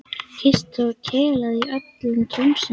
Kysst og kelað í öllum tómstundum.